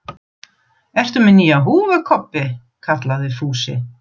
Ertu með nýja húfu Kobbi? kallaði Fúsi.